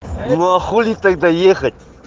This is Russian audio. ну а хули тогда ехать